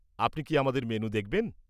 আপনি কি আমাদের মেনু দেখবেন?